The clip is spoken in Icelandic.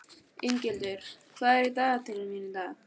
Inghildur, hvað er í dagatalinu mínu í dag?